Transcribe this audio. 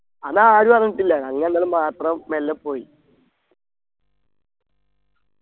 അതാരും അറിഞ്ഞിട്ടില്ല ഞങ്ങ രണ്ടാളും മാത്രം മെല്ലെ പോയി